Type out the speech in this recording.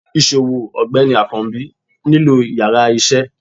isòwó ọgbẹni akanbi nílo íyarà iṣẹ